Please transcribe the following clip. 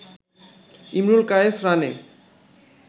ইমরুল কায়েস রানে